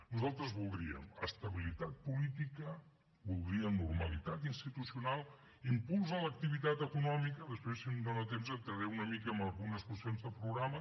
nosaltres voldríem estabilitat política voldríem normalitat institucional impuls a l’activitat econòmica després si em dona temps entraré una mica en algunes qüestions de programa